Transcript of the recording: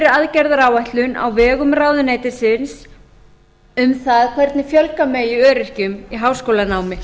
aðgerðaáætlun á vegum ráðuneytisins um það hvernig fjölga megi öryrkjum í háskólanámi